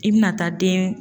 I bɛna taa den